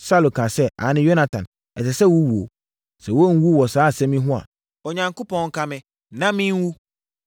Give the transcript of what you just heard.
Saulo kaa sɛ, “Aane, Yonatan, ɛsɛ sɛ wowuo. Sɛ woanwu wɔ saa asɛm yi ho a, Onyankopɔn nka me na menwu.”